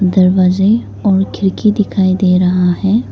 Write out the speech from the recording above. दरवाजे और खिड़की दिखाई दे रहा है।